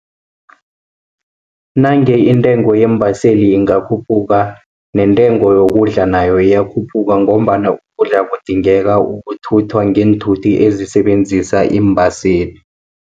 Nange intengo yeembaseli ingakhuphuka, nentengo yokudla nayo iyakhuphuka, ngombana ukudla kudingeka ukuthuthwa ngeenthuthi ezisebenzisa iimbaseli.